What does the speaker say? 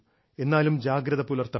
എന്നാലും ജാഗ്രത പുലർത്തണം